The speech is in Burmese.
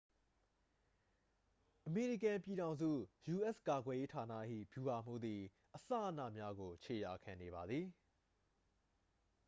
အမေရိကန်ပြည်ထောင်စု ယူအက်စ်ကာကွယ်ရေးဌာန၏ ဗျူဟာမှူးသည် အစအနများကို ခြေရာခံနေပါသည်